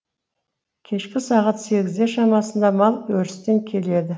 кешкі сағат сегіздер шамасында мал өрістен келеді